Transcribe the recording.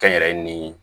Kɛnyɛrɛye ni